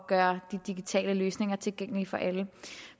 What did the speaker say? gøre de digitale løsninger tilgængelige for alle